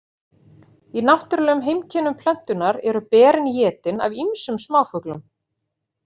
Í náttúrulegum heimkynnum plöntunnar eru berin étin af ýmsum smáfuglum.